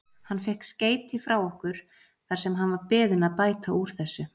Hann fékk skeyti frá okkur þar sem hann var beðinn að bæta úr þessu.